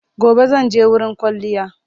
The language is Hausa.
Gobe zan je wurin kwalliya.